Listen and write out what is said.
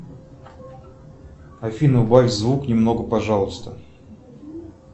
афина убавь звук немного пожалуйста